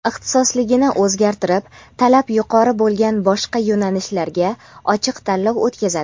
ixtisosligini o‘zgartirib talab yuqori bo‘lgan boshqa yo‘nalishlarga ochiq tanlov o‘tkazadi.